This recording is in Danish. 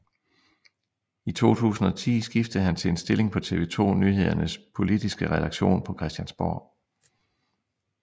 I 2010 skiftede han til en stilling på TV 2 Nyhedernes politiske redaktion på Christiansborg